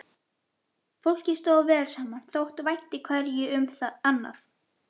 Fólkið stóð vel saman, þótti vænt hverju um annað.